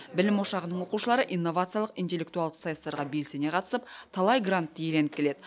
білім ошағының оқушылары инновациялық интеллектуалдық сайыстарға белсене қатысып талай грантты иеленіп келеді